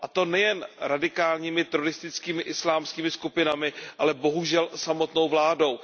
A to nejen radikálními teroristickými islámskými skupinami, ale bohužel samotnou vládou.